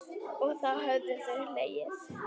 Og þá höfðu þau hlegið.